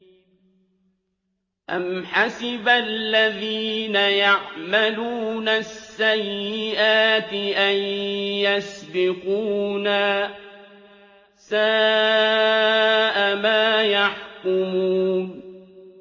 أَمْ حَسِبَ الَّذِينَ يَعْمَلُونَ السَّيِّئَاتِ أَن يَسْبِقُونَا ۚ سَاءَ مَا يَحْكُمُونَ